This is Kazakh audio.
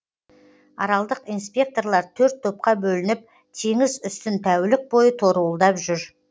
аралдық инспекторлар төрт топқа бөлініп теңіз үстін тәулік бойы торуылдап жүр